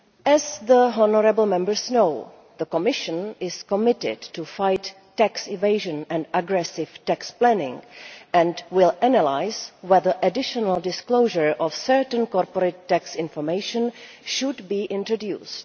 As the honourable Members know, the Commission is committed to fighting tax evasion and aggressive tax planning and will analyse whether additional disclosure of certain corporate tax information should be introduced.